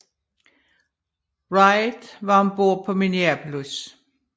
Wright var om bord på Minneapolis